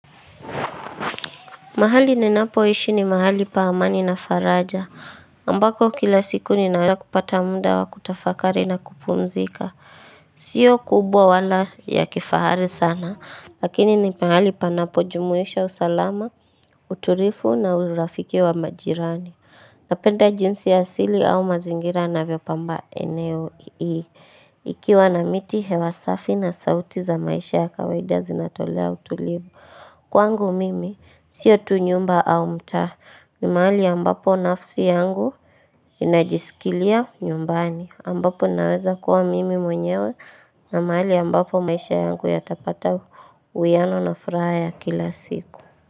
Mahali ninapoishi ni mahali pa amani na faraja ambako kila siku ninaweza kupata muda wa kutafakari na kupumzika sio kubwa wala ya kifahari sana lakini ni mahali panapojumuisha usalama utulivu na urafiki wa majirani napenda jinsi ya asili au mazingira navyopamba eneo hili ikiwa na miti hewa safi na sauti za maisha ya kawaida zinatolea utulivu Kwangu mimi sio tu nyumba au mtaa ni mahali ambapo nafsi yangu inajisikilia nyumbani ambapo naweza kuwa mimi mwenyewe na mahali ambapo maisha yangu yatapata uwiano na furaha ya kila siku.